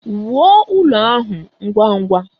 Wuo ụlọ ahụ ngwa ngwa!